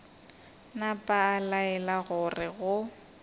napa a laela gore go